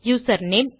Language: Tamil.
user name